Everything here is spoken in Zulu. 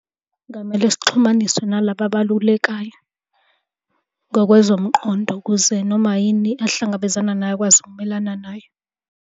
Kungamele sixhumaniswe nalaba abalulekayo ngokwezomqondo ukuze noma yini ahlangabezana nayo akwazi ukumelana nayo.